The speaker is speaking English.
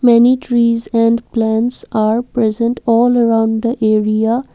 many trees and plants are present all around the area.